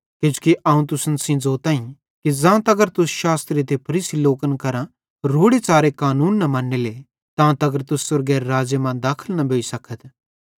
किजोकि अवं तुसन सेइं ज़ोताईं कि ज़ां तगर तुस शास्त्री ते फरीसी लोकन करां रोड़े च़ारे कानूने न मन्नेले तां तगर तुस स्वर्गेरे राज़्ज़े मां दाखल न भोइ सकथ